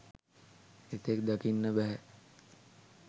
එතෙක් දකින්න බෑහෑ .